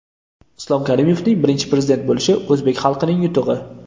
Islom Karimovning Birinchi Prezident bo‘lishi o‘zbek xalqining yutug‘i.